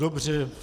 Dobře.